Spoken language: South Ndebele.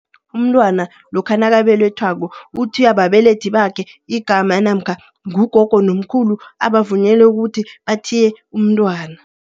Umntwana lokha nakabelethwako uthiywa babelethi bakhe igama namkha ngugogo nomkhulu abavunyelwe ukuthi bathiye umntwana.